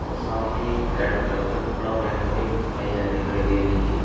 और सामने एक रेड कलर का कपड़ा पहने हुए महिलाए दिखाई दे रही है।